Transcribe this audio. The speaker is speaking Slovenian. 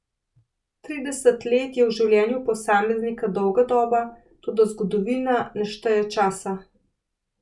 Trideset let je v življenju posameznika dolga doba, toda zgodovina ne šteje časa.